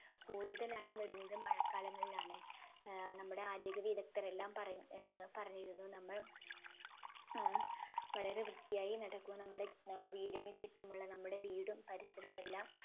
കൂടുതലായും വരുന്നത് മഴകാലങ്ങളിലാണ് ഏർ നമ്മുടെ ആരോഗ്യ വിദഗ്‌ധരെല്ലാം പറ ഏർ പറഞ്ഞിരുന്നു നമ്മൾ ഏർ വളരെ വൃത്തിയായി നടക്കു നമ്മുടെ ഏർ വീടിന് ചുറ്റുമുള്ള നമ്മുടെ വീടും പരിസരവുമെല്ലാം